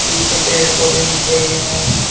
पीछे पेड़ पौधे दिख रही हैं।